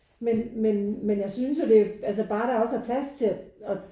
Men men men jeg synes jo altså bare der også er plads til at at